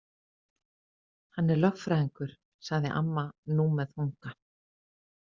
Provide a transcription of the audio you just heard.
Hann er lögfræðingur, sagði amma nú með þunga.